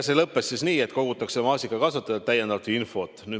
See lõppes nii, et kogutakse maasikakasvatajatelt täiendavat infot.